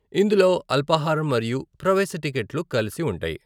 ఇందులో అల్పాహారం మరియు ప్రవేశ టిక్కెట్లు కలిసి ఉంటాయి.